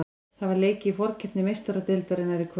Það var leikið í forkeppni Meistaradeildarinnar í kvöld.